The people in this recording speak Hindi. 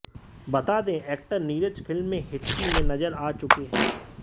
बता दें एक्टर नीरज फिल्म में हिचकी में नजर आ चुके हैं